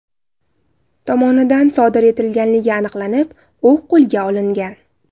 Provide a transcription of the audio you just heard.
tomonidan sodir etganligi aniqlanib, u qo‘lga olingan.